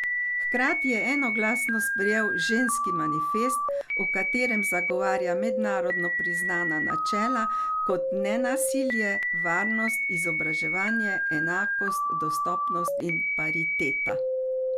Hkrati je enoglasno sprejel Ženski manifest, v katerem zagovarja mednarodno priznana načela kot nenasilje, varnost, izobraževanje, enakost, dostopnost in pariteta.